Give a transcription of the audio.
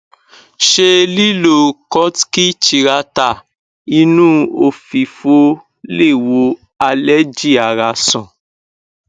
se lilo kutki chirata inu ofifo le wo allergy ara san